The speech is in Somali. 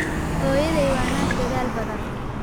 Hooyaday waa naag dadaal badan.